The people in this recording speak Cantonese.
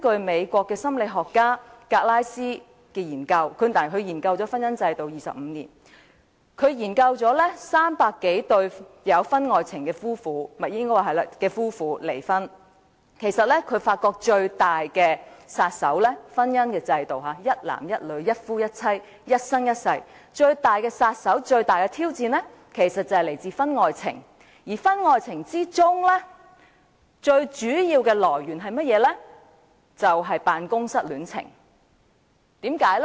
美國心理學家格拉斯研究了婚姻制度25年，他曾研究300多對有婚外情而離婚的夫婦，發現對於一男一女，一夫一妻，一生一世的婚姻制度，最大的殺手和挑戰其實是婚外情，而婚外情最主要的來源是辦公室戀情。